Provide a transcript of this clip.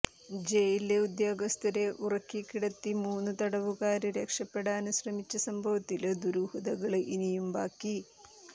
ജയില് ഉദ്യോഗസ്ഥരെ ഉറക്കി കിടത്തി മൂന്ന് തടവുകാര് രക്ഷപ്പെടാന് ശ്രമിച്ച സംഭവത്തില് ദുരൂഹതകള് ഇനിയും ബാക്കി